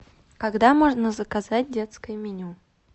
когда можно заказать детское меню